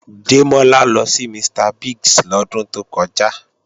Démọ́lá lọ sí Mr. Biggs lọ́dún tó kọjá